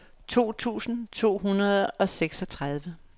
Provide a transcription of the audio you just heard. to tusind to hundrede og seksogtredive